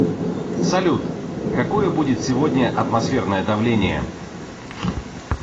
салют какое будет сегодня атмосферное давление